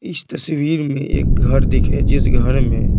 इस तस्वीर में एक घर दिख रहा है जिस घर में--